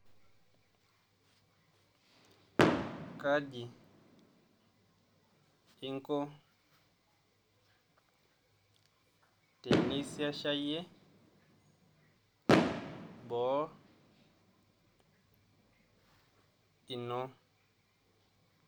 Kaji inko tenisesiayie boo ino?